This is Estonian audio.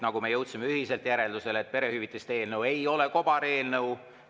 Me jõudsime ühiselt järeldusele, et perehüvitiste eelnõu ei ole kobareelnõu.